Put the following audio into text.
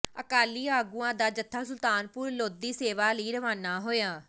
ਅਕਾਲੀ ਆਗੂਆਂ ਦਾ ਜੱਥਾ ਸੁਲਤਾਨਪੁਰ ਲੋਧੀ ਸੇਵਾ ਲਈ ਰਵਾਨਾ ਹੋਇਆ